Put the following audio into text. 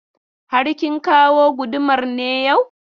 Har kin kawo gudumar ne yau?